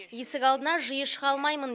есік алдына жиі шыға алмаймын